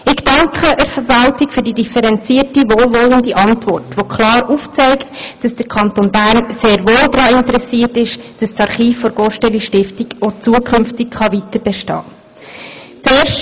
Ich danke der Verwaltung für die differenzierte, wohlwollende Antwort, die klar aufzeigt, dass der Kanton Bern sehr wohl daran interessiert ist, dass das Archiv der GosteliStiftung auch zukünftig weiterbestehen kann.